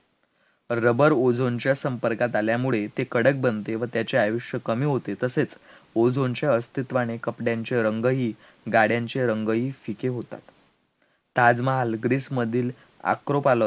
Rubber, ozone च्या संपर्कात आल्यामुळे, ते कडक बनते व त्याचे आयुष्य कमी होते, तसेच ozone च्या अस्तित्वाने कपड्यांचे रंगही, गाड्यांचे रंगही, फिके होतात, ताजमहाल, greece मधील acropolis